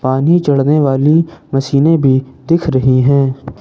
पानी चढ़ने वाली मशीनें भी दिख रही हैं।